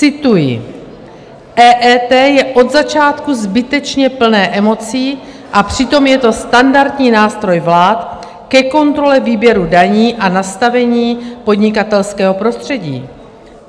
Cituji: "EET je od začátku zbytečně plné emocí, a přitom je to standardní nástroj vlád ke kontrole výběru daní a nastavení podnikatelského prostředí.